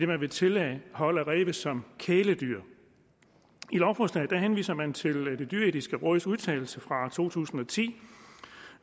man vil tillade hold af ræve som kæledyr i lovforslaget henviser man til det dyreetiske råds udtalelse fra to tusind og ti